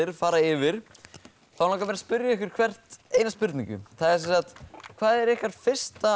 fara yfir langar mig að spyrja ykkur hvert einnar spurningar hvað er ykkar fyrsta